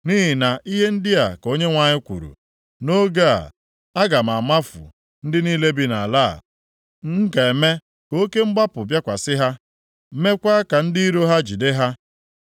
Nʼihi na ihe ndị a ka Onyenwe anyị kwuru, “Nʼoge a, aga m amafu ndị niile bi nʼala a. M ga-eme ka oke mkpagbu bịakwasị ha, meekwa ka ndị iro ha jide ha.”